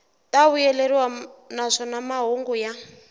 ta vuyeleriwa naswona mahungu ya